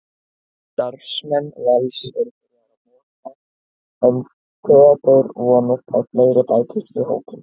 Starfsmenn Vals eru byrjaðir að moka en Theódór vonast að fleiri bætist í hópinn.